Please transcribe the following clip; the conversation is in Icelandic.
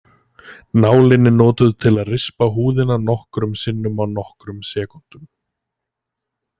Nálin er notuð til að rispa húðina nokkrum sinnum á nokkrum sekúndum.